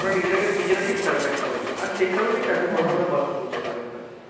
ওরা নিজেরা নিজেরা ঠিক survive করে নিবে। আর সেই কারণেইতো এত বড়ো বড়ো কথা বলতে পারো ওরা।